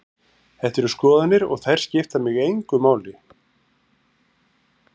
Þetta eru skoðanir og þær skipta mig engu máli.